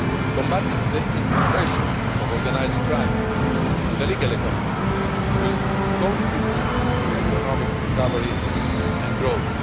Combating the infiltration of organised crime into the legal economy will contribute to economic recovery and growth.